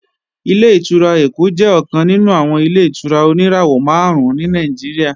Ilé-ìtura Èkó jẹ́ ọ̀kan nínú àwọn Ilé-ìtura oníràwọ̀ máàrún ní Nàìjíríà